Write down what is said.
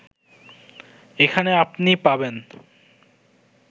এখানে আপনি পাবেন